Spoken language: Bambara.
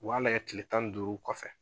O b'a lagɛ tile tan ni duuru kɔfɛ